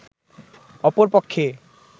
অপর পক্ষে